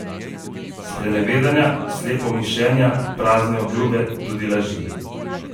Sprenevedanja, slepomišenja, prazne obljube, tudi laži.